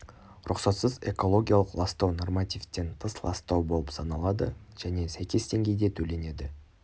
рұқсатсыз экологиялық ластау нормативтен тыс ластау болып саналады және сәйкес деңгейде төленеді